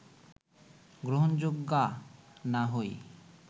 গ্রহণযোগ্যা না হই